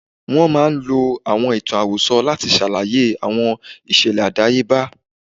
Wọ́n máa ń lo àwọn ìtàn àròsọ láti ṣàlàyé àwọn ìṣẹ̀lẹ̀ àdáyebá.